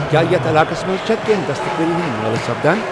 کیا یتھ علاقس منز چھا کینٛہہ دستہٕ کٲری ہٕندۍ مٲلہٕ سپدان ؟